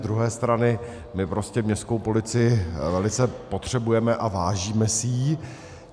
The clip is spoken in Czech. Z druhé strany my prostě městskou policii velice potřebujeme a vážíme si jí.